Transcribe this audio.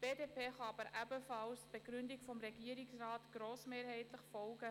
Die BDP kann aber ebenfalls grossmehrheitlich der Begründung des Regierungsrats folgen.